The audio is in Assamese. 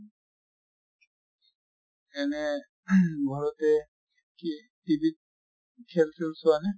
এনে ing ঘৰতে কি TV ত খেল চেল চোৱা নে?